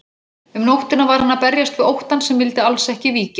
Um nóttina var hann að berjast við óttann sem vildi alls ekki víkja.